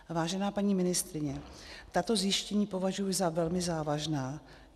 Vážená paní ministryně, tato zjištění považuji za velmi závažná.